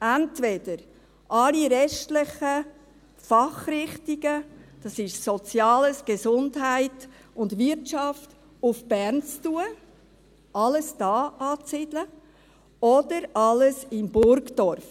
Entweder alle restlichen Fachrichtungen – das ist Soziales, Gesundheit und Wirtschaft – nach Bern zu tun, alles hier anzusiedeln oder alles in Burgdorf;